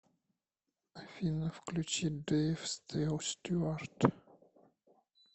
афина включи дэйв стюарт